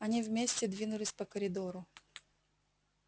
они вместе двинулись по коридору